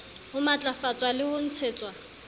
ho matlafatswa le ho ntshetswa